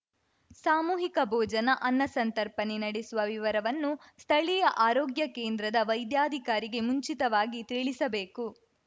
ಸಾಮೂಹಿಕ ಭೋಜನ ಅನ್ನಸಂತರ್ಪಣೆ ನಡೆಸುವ ವಿವರವನ್ನು ಸ್ಥಳೀಯ ಆರೋಗ್ಯ ಕೇಂದ್ರದ ವೈದ್ಯಾಧಿಕಾರಿಗೆ ಮುಂಚಿತವಾಗಿ ತಿಳಿಸಬೇಕು